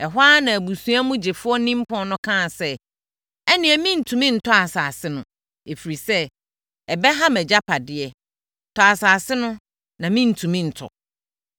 Ɛhɔ ara na abusua mu gyefoɔ nimpɔn no kaa sɛ, “Ɛnneɛ merentumi ntɔ asase no, ɛfiri sɛ, ɛbɛha mʼagyapadeɛ. Tɔ asase no na merentumi ntɔ.”